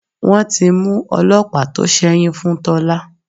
Wọ́n ti mú ọlọ́pàá tó sẹ́yún fún Tọ́lá.